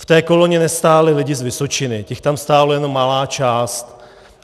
V té koloně nestáli lidi z Vysočiny, těch tam stála jenom malá část.